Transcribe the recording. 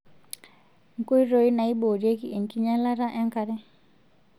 Nkoitoi naaiborieki enkinyialata enkare;